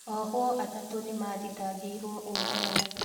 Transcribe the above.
Ohwo atatu nĩmathitangĩirwo ũragani